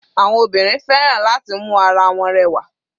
Àwọn obìnrin fẹ́ràn láti mu ara wọn rẹwà.